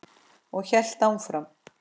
Og hélt áfram